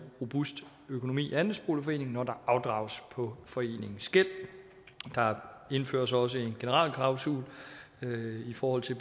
robust økonomi i andelsforeningen når der afdrages på foreningens gæld der indføres også en generalklausul i forhold til